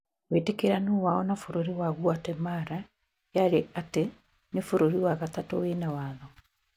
Wĩtĩkiranu wao na bũrũri wa Guatemala, yarĩ ati,"ni bũrũri wa gatatũ wina watho"